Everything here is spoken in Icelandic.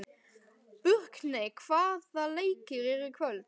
Burkney, hvaða leikir eru í kvöld?